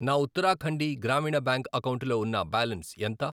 నా ఉత్తరాఖండి గ్రామీణ బ్యాంక్ అకౌంటులో ఉన్న బ్యాలన్స్ ఎంత?